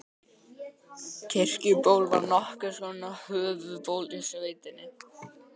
Kirkjuból var nokkurs konar höfuðból í sveitinni.